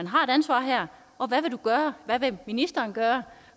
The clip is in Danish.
har et ansvar her og hvad vil ministeren gøre